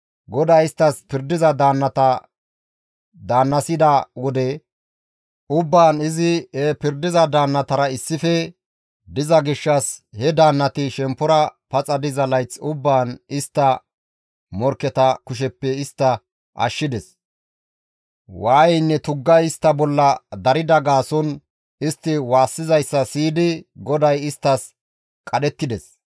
GODAY isttas pirdiza daannata daannasida wode ubbaan izi he pirdiza daannatara issife diza gishshas he daannati shemppora paxa diza layth ubbaan istta morkketa kusheppe istta ashshides. Waayeynne tuggay istta bolla darida gaason istti waassizayssa siyidi GODAY isttas qadhettides.